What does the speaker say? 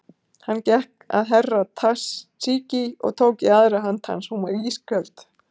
Hann gekk að Herra Takashi og tók í aðra hönd hans, hún var ísköld.